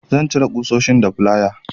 Zan cire ƙusoshin da flaya.